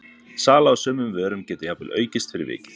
sala á sumum vörum getur jafnvel aukist fyrir vikið